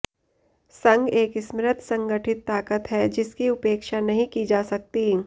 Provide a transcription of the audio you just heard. संघ एक समृद्ध संगठित ताकत है जिसकी उपेक्षा नहीं की जा सकती